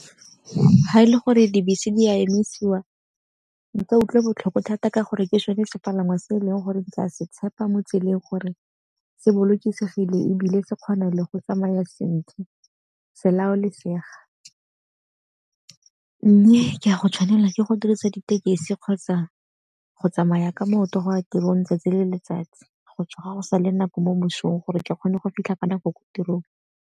Ga e le gore dibese di a emisiwa, nka utlwa botlhoko thata ka gore ke sone sepalangwa se e leng gore ke a se tshepa mo tseleng gore se bolokesegile ebile se kgone le go tsamaya sentle, selaolesega. Mme ke a go tshwanela ke go dirisa ditekesi kgotsa go tsamaya ka maoto go ya tirong 'tsatsi le letsatsi, go tsoga go sa le nako mo mosong gore ke kgone go fitlha ka nako ko tirong.